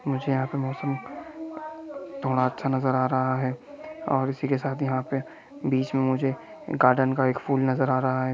मुझे यहाँ का मौसम थोड़ा अच्छा नजर आ रहा है और इसी के साथ यहाँ पे बीच में मुझे गार्डन का एक फूल नजर आ रहा है।